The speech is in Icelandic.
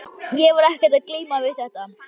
Ég var ekkert að glíma við þetta.